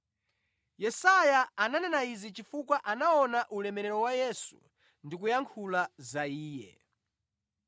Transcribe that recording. Yesaya ananena izi chifukwa anaona ulemerero wa Yesu ndi kuyankhula za Iye.